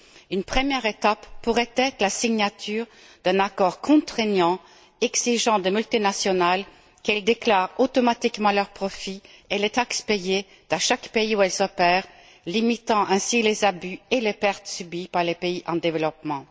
Une première étape pourrait être la signature d'un accord contraignant, exigeant des multinationales qu'elles déclarent automatiquement leurs profits et les taxes payées dans chaque pays où elles opèrent, limitant ainsi les abus et les pertes subies par les pays en développement.